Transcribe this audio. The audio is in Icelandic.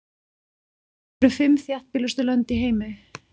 Hver eru fimm þéttbýlustu lönd í heimi?